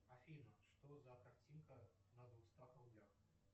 афина что за картинка на двухстах рублях